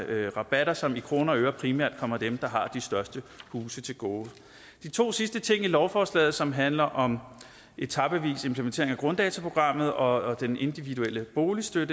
er rabatter som i kroner og øre primært kommer dem der har de største huse til gode de to sidste ting i lovforslaget som handler om etapevis implementering af grunddataprogrammet og den individuelle boligstøtte